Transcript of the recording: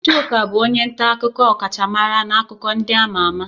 Chuka bụ onye nta akụkọ ọkachamara na akụkọ ndị ama ama.